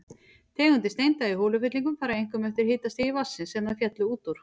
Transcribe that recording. Tegundir steinda í holufyllingum fara einkum eftir hitastigi vatnsins, sem þær féllu út úr.